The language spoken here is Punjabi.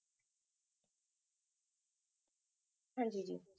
ਹਾਂਜੀ ਜੀ